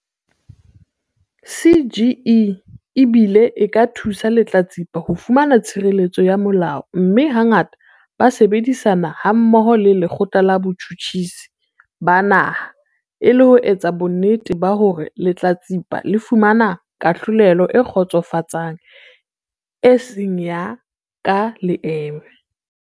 CGE e bile e ka thusa lehlatsipa ho fumana tshireletso ya molao mme hangata ba sebedisana hammoho le Lekgotla la Botjhutjhisi ba Naha e le ho etsa bonnete ba hore lehlatsipa le fumana kahlolelo e kgotsofatsang e sa yeng ka leeme.